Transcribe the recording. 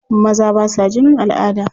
Maza ba sa jinin al'ada.